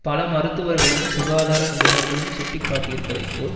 பல மருத்துவர்களும் சுகாதார நிபுணர்களும் சுட்டிக்காட்டியிருப்பதைப் போல்